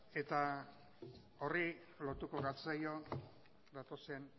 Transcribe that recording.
eta horri lotuko gatzaio gatozen